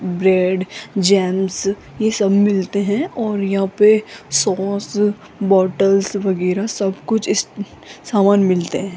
Bread jams ये सब मिलते है और यहां पे सॉस बॉटल्स वगैरह सब कुछ इस सामान मिलते है।